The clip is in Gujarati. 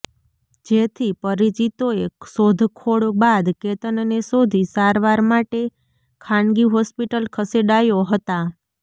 જેથી પરિચીતોએ શોખખોળ બાદ કેતનને શોધી સારવાર માટે ખાનગી હોસ્પિટલ ખસેડાયો હતા